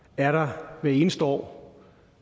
er der hvert eneste år